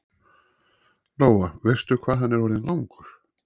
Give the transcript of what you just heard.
Lóa: Veistu hvað hann er orðinn langur?